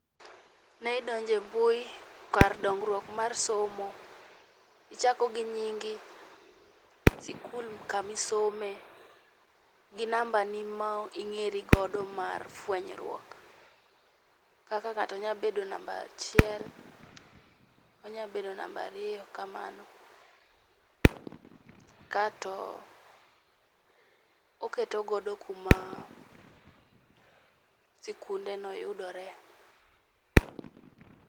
Mae idonjo e mbui kar dongruok mar somo. Ichako gi nyingi, sikul kama isome, gi namba ni ma ing'eri godo mar fuenyruok. Kaka ng'ato nyalo bedo namba achiel, onyalo bedo namba ariyo kamano. Kato oketo godo kuma sikundeno yudore.